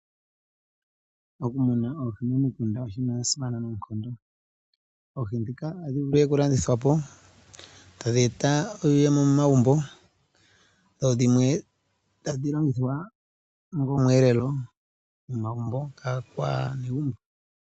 Okumuna oohi momikunda oshinima shasimana noonkondo oohi dhika ohadhi vulu okulandithwa po tadhi eta iiyemo momagumbo dho dhimwe tadhi longithwa onga omweelelo momagumbo kaanegumbo.